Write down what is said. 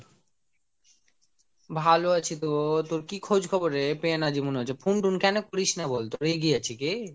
ভালো আছি তো, তোর কি খোঁজ খবর রে পেয়না জীবন নয় যে phone টোন কোনো করিস না বলতো রে রেগে আছি কি ?